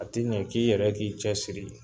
A ti ɲɛ f'i yɛrɛ k'i cɛsiri.